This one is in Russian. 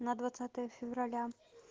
на двадцатое февраля